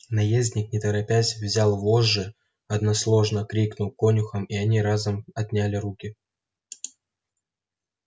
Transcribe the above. наездник не торопясь взял вожжи односложно крикнул конюхам и они разом отняли руки